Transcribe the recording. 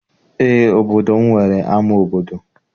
Eé, obodo m nwere ama obodo.